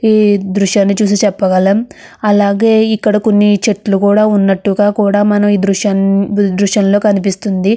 ఈ దృశ్యాన్ని చూసి చెప్పగలం. అలాగే ఇక్కడ కొన్ని చెట్లు కూడా ఉన్నట్టుగా కూడా మనం ఈ దృశ్యం దృశ్యంలో కనిపిస్తుంది.